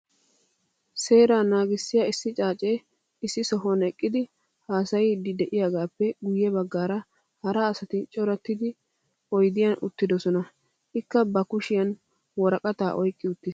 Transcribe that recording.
Seeraa naagissiya issi xaacee issi sohuwan eqqidi haasayiiddi de'iyagaappe guyye baggaara hara asati corattidi oydiyan uttidosona. Ikka ba kushiyan woraqataa oyqqi uttiis.